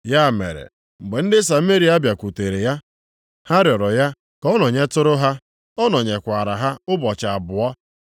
Ya mere mgbe ndị Sameria bịakwutere ya, ha rịọrọ ya ka ọ nọnyetụrụ ha, ọ nọnyekwaara ha ụbọchị abụọ.